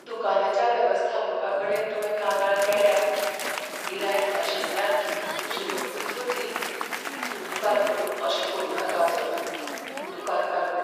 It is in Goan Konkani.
दुकानाच्या वेवस्थापकाकडेन तुवें कागाळ केल्यार, गिरायक नाशिल्ल्यान म्हजी नोकरीच वतली. उपकार करून अशें करूं नाका, सर. दुकान कारकून